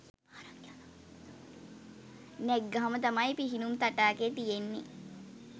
නැග්ගාම තමයි පිහිනුම් තටාකය තියෙන්නේ